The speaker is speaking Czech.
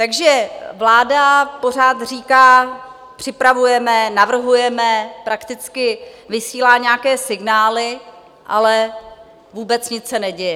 Takže vláda pořád říká: Připravujeme, navrhujeme, prakticky vysílá nějaké signály, ale vůbec nic se neděje.